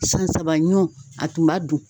San saba ɲɔn a tun b'a dun.